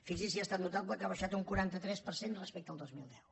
fixi’s si ha estat notable que ha baixat un quaranta tres per cent respecte al dos mil deu